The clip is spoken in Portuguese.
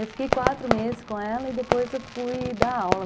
Eu fiquei quatro meses com ela e depois eu fui dar aula.